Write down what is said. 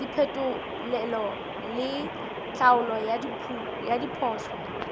diphetolelo le tlhaolo ya diphoso